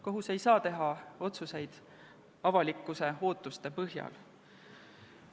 Kohus ei saa teha otsuseid avalikkuse ootuste põhjal.